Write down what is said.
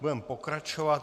Budeme pokračovat.